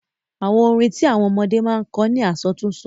Àwọn orin tí àwọn ọmọdé máa ń kọ ni àsọtúnsọ.